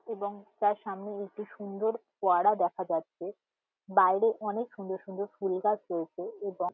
এবং তার সামনে একটি সুন্দর ফোয়ারা দেখা যাচ্ছে। বাইরে অনেক সুন্দর সুন্দর ফুল গাছ রয়েছে। এবং--